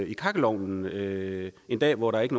i kakkelovnen en dag hvor der ikke